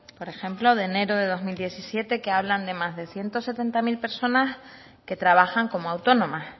por ejemplo de enero de dos mil diecisiete que hablan de más de diecisiete mil personas que trabajan como autónomas